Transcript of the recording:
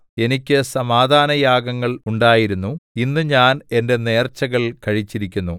എനിക്ക് സമാധാനയാഗങ്ങൾ ഉണ്ടായിരുന്നു ഇന്ന് ഞാൻ എന്റെ നേർച്ചകൾ കഴിച്ചിരിക്കുന്നു